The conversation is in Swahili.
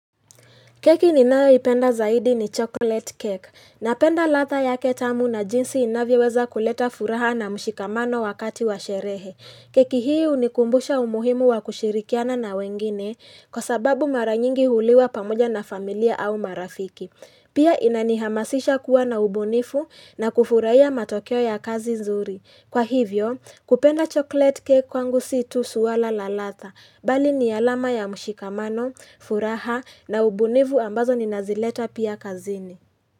Keki ninayoipenda zaidi ni chocolate cake. Napenda ladha yake tamu na jinsi inavyoweza kuleta furaha na mshikamano wakati wa sherehe. Keki hii hunikumbusha umuhimu wa kushirikiana na wengine kwa sababu mara nyingi huliwa pamoja na familia au marafiki. Pia inanihamasisha kuwa na ubunifu na kufurahia matokeo ya kazi nzuri. Kwa hivyo, kupenda chocolate cake kwangu sio tu swala la ladha, bali ni alama ya mshikamano, furaha na ubunifu ambazo ninazileta pia kazini.